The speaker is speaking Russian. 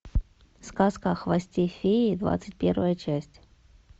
сказка о хвосте феи двадцать первая часть